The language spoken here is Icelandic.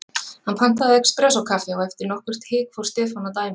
Hann pantaði espressó-kaffi og eftir nokkurt hik fór Stefán að dæmi hans.